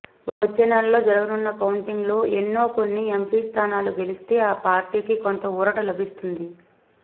వచ్చే నెలలో జరగనున్న కౌంటింగ్ లో ఎన్నోకొన్ని ఎంపీ స్థానాలు గెలిస్తే ఆ పార్టీకి కొంత ఊరట లభిస్తుంది